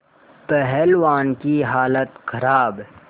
पहलवान की हालत खराब